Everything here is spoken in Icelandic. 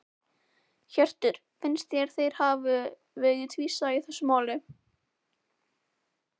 Hjörtur: Finnst þér þeir hafi verið tvísaga í þessu máli?